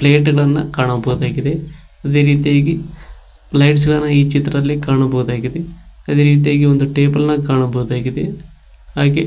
plate ಗಳನ್ನ ಕಾಣಬಹುದಾಗಿದೆ ಅದೇ ರೀತಿಯಾಗಿ ಪ್ಲೇಟ್ಸ್ ಗಳನ್ನ ಈ ಚಿತ್ರದಲ್ಲಿ ಕಾಣಬಹುದಾಗಿದೆ ಅದೇ ರೀತಿಯಾಗಿ ಒಂದು ಟೇಬಲ್ ನ ಕಾಣಬಹುದಾಗಿದೆ ಹಾಗೆ